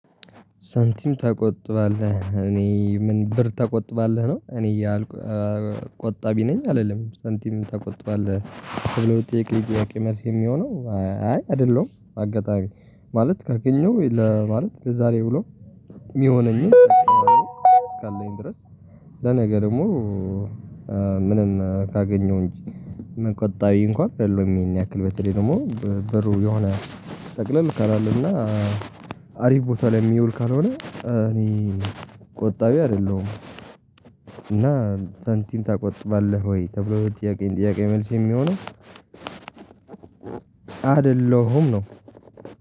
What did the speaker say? ሳንቲም ተቆጥባለህ እኔ ምን ብር ተቆጥባለህ ነው? እኔ እያልኩ ቆጣቢ ነኝ አልልም ሳንቲም ትቆጥባለህ ተብሎ ለጠየቁኝ ጥያቄ መልስ የሚሆነው አይ አይደለሁም። አጋጣሚ ማለት ካገኘሁ ለማለት ለዛሬ ውሎ የሚሆነኝን እስካለኝ ድረስ ለነገ ደግሞ ምንም ካገኘው እንጂ መቆጣቢ እንኳን አይደለሁም። ይሄን ያክል በተለይ ደግሞ ብሩ የሆነ ጠቅለል ካላለ እና አሪፍ ቦታ ላይ የሚውል ካልሆነ እኔ ቆጣቢ አይደለሁም። እና ሳንቲም ታቆጥባለህ ወይ ተብሎ ለተጠየቀ ጥያቄ መልስ የሚሆነው አይደለሁም ነው